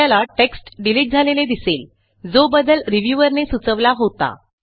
आपल्याला text delete झालेले दिसेल जो बदल रिव्ह्यूअर ने सुचवला होता